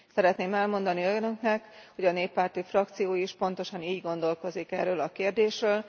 Szeretném elmondani Önöknek, hogy a néppárti frakció is pontosan így gondolkozik erről a kérdésről.